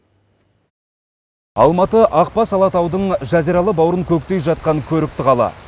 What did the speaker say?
алматы ақбас алатаудың жазиралы бауырын көктей жатқан көрікті қала